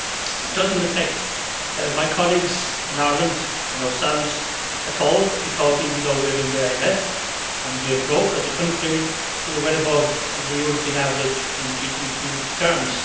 It does not affect my colleagues in Ireland or ourselves at all because even though we are in the IMF and we are broke as a country we are well above the European average in GDP terms